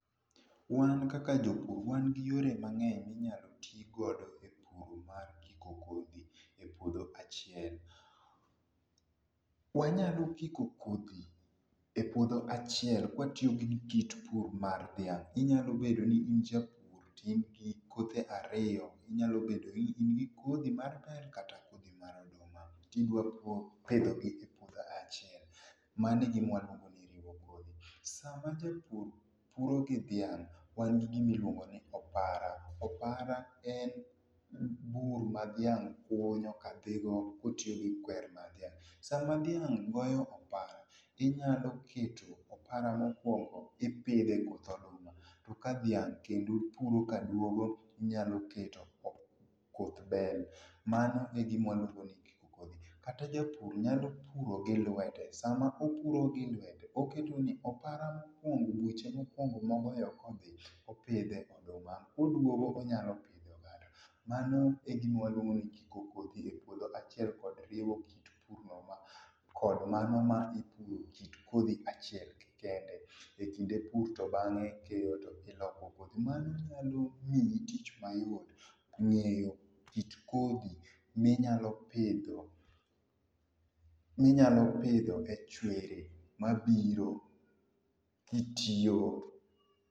Wan kaka jopur wan gi yore mangeny minyalo tii godo e pur mar kiko kodhi e puodho achiel. Wanyalo kiko kodhi e puodho achiel ka watiyo gi kit pur mar dhiang inyalo bedo ni in japur to in gi kothe ariyo, inyalo bedo ni in gi kodhi mar bel kata kodhi mar oduma tidwa pidhogi e puodho achiel, mano e ema iluongo ni riwo kodhi. Sama japur puro gi dhiang wan gi gimi iluongo ni opara, opara en bur ma dhiang kunyo ka dhi go kotiyo gi kwer mar dhiang. Sama dhiang goyo opara inyalo keto opara mokuongo ipidhe koth oduma to ka dhiang kendo puro ka duogo tinyalo kete koth bel. Mano e gima waluongo ni kiko kodhi. Kata japur nyalo puro gi lwete, sama opuro gi lwete oketo ni opara mokuongo e buche mokuongo ma ogoyo ka odhi opidhe oduma ka oduogo to onyalo pidho oganda. Mano egima waluongo ni kiko kodhi e puodho achiel kod riwo kit pur no kod mano mar ipidhe kit kodhi achiel kende ekinde pur to bange keyo to dhi loko kodhi. Mano nyalo miyi tich mayot ngeyo kit kodhi minyalo pidho minyalo pidho e chwere mabiro kitiyo